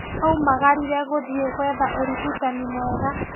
Aumagarire gũthiĩ gwetha ũrigitani mwega